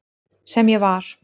Sem ég var.